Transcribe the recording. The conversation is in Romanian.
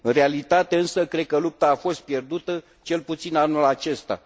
În realitate însă, cred că lupta a fost pierdută, cel puțin anul acesta.